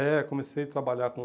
É, comecei a trabalhar com...